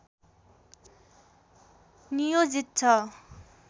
नियोजित छ